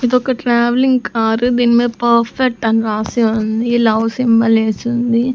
ఇదొక travelling car దీని మీద పర్ఫెక్ట్ అని రాసి ఉంది లవ్ సింబల్ ఏసుంది.